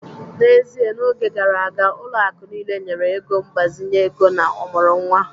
N'ezie, n'oge gara aga, ụlọ akụ niile nyere ego mgbazinye ego na ọmụrụ nwa